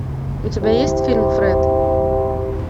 у тебя есть фильм фред